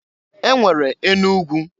E nwere enu ugwu.